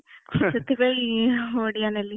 ସେଥିପାଇଁ ଓଡିଆ ନେଲି ।